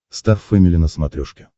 стар фэмили на смотрешке